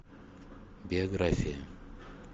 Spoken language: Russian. биография